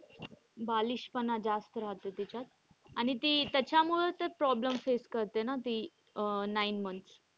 बालिशपणा जास्त रहाते तिच्यात. आणि ती त्याच्यामुळे तर problem face करते ना ती अह nine months.